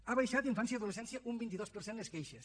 ha baixat en infància i adolescència un vint dos per cent les queixes